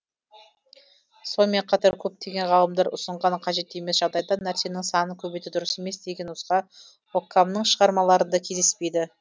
сонымен қатар көптеген ғалымдар ұсынған қажет емес жағдайда нәрсенің санын көбейту дұрыс емес деген нұсқа оккамның шығармаларында кездеспейді